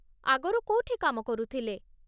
ଆଗରୁ କୋଉଠି କାମ କରୁଥିଲେ?